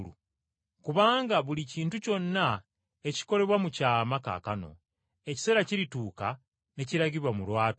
Kubanga buli kintu kyonna ekikolebwa mu kyama kaakano, ekiseera kirituuka ne kiragibwa mu lwatu.